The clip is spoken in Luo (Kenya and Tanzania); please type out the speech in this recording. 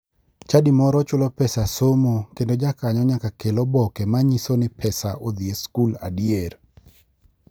Chadi moro chulo pesa somo kendo jakanyo nyaka kel oboke manyiso ni ne pesa odhi e skul adier.